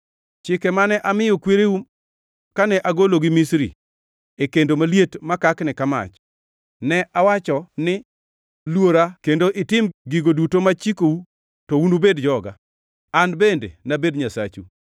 chike mane amiyo kwereu kane agologi Misri, e kendo maliet makakni mach.’ Ne awacho ni, ‘Luora kendo itim gigo duto machikou to unubed joga, an bende nabed Nyasachu.